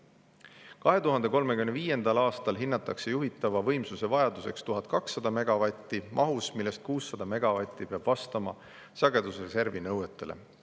Hinnatakse, et 2035. aastal on juhitava võimsuse vajadus 1200 megavatti, millest 600 megavatti peab vastama sagedusreservi nõuetele.